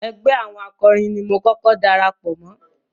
Ẹgbẹ́ àwọn akọrin ni mo kọ́kọ́ darapọ̀ mọ́.